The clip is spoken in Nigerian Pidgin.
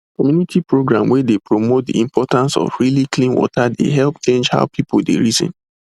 community program wey dey promote the importance of really clean water dey help change how people dey reason